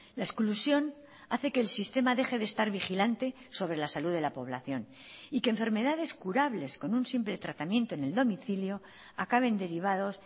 la exclusión hace que el sistema deje de estar vigilante sobre la salud de la población y que enfermedades curables con un simple tratamiento en el domicilio acaben derivados